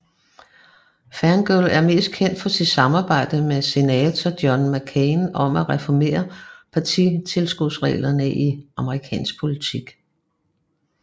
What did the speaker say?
Feingold er mest kendt for sit samarbejde med senator John McCain om at reformere partitilskudsreglerne i amerikansk politik